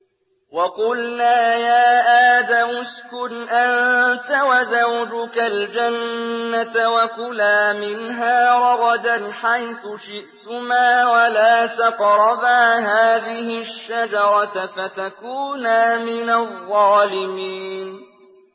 وَقُلْنَا يَا آدَمُ اسْكُنْ أَنتَ وَزَوْجُكَ الْجَنَّةَ وَكُلَا مِنْهَا رَغَدًا حَيْثُ شِئْتُمَا وَلَا تَقْرَبَا هَٰذِهِ الشَّجَرَةَ فَتَكُونَا مِنَ الظَّالِمِينَ